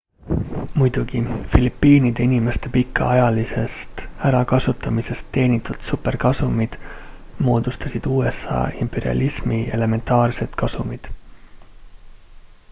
muidugi filipiinide inimeste pikaajalisest ärakasutamisest teenitud superkasumid moodustasid usa imperialismi elementaarsed kasumid